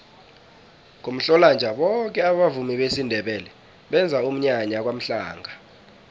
ngomhlolanja boke abavumi besindebele benza umnyanya kwamhlanga